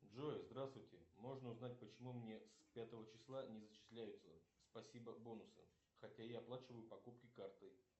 джой здравствуйте можно узнать почему мне с пятого числа не зачисляются спасибо бонусы хотя я оплачиваю покупки картой